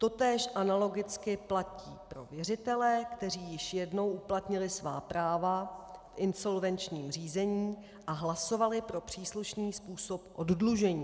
Totéž analogicky platí pro věřitele, kteří již jednou uplatnili svá práva v insolvenčním řízení a hlasovali pro příslušný způsob oddlužení.